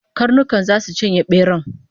Karnuka zasu cinye beran